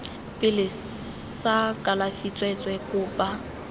pele sa kalafi tsweetswee kopa